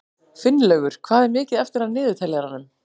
Finnlaugur, hvað er mikið eftir af niðurteljaranum?